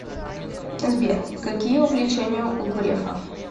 сбер какие увлечения у грефа